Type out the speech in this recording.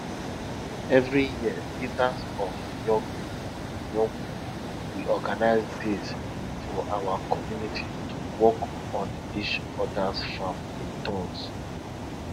every year leaders of young people young people will organize days for our community to work on each others farms in turns